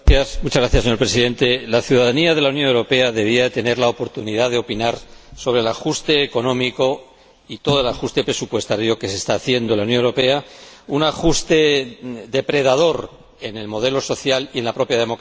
Señor Presidente, la ciudadanía de la Unión Europea debería tener la oportunidad de opinar sobre el ajuste económico y todo el ajuste presupuestario que se está haciendo en la Unión Europea, un ajuste depredador en el modelo social y en la propia democracia.